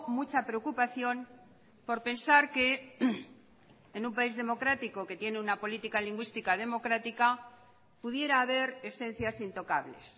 mucha preocupación por pensar que en un país democrático que tiene una política lingüística democrática pudiera haber esencias intocables